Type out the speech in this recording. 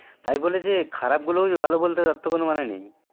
তাই বলে যে খারাপ গুলো ভালো বলতে হবে তার তো কোনো মানে নেই